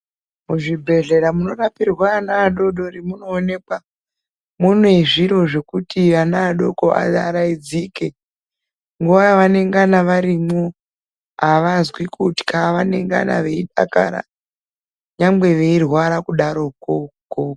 Muzvibhehlera munorapira ana adodori munoonekwa mune zviro zvekuti ana adoko arayidzike nguva yavanengana varimwo avazwi kutya vanenngana veidakara nyangwe veirwara kudaroko.